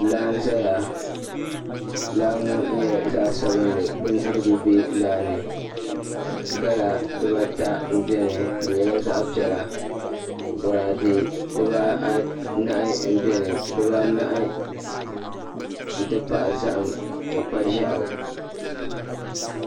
Laa n ʒɛya laaŋɔ nyɛla zaɣ' sabinli ka bindirigu bɛ laani ka gala diba ata bɛ dini di nyɛla zaɣ' piɛla diba anahi n bɛni n ti pahi zahim ni kpa ʒiɛɣu